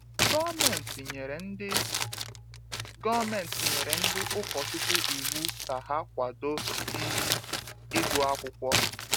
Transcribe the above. Gọọmenti nyere ndị Gọọmenti nyere ndị ụkọchukwu iwu ka ha kwado um ịgụ akwụkwọ.